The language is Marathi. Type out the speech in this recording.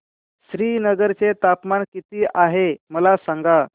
श्रीनगर चे तापमान किती आहे मला सांगा